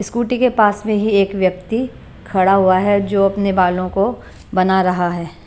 Scooty के पास में ही एक व्यक्ति खड़ा हुआ है जो अपने बालों को बना रहा है।